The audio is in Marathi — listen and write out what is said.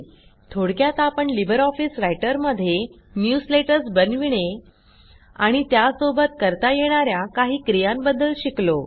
थोडक्यात आपण लिबर ऑफिस रायटरमध्ये न्यूजलेटर्स बनविणे आणि त्यासोबत करता येणा या काही क्रियांबद्दल शिकलो